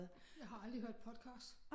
Jeg har aldrig hørt podcast